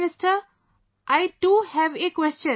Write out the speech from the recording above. Prime Minister I too have a question